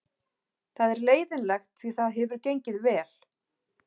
Það er leiðinlegt því það hefur gengið vel.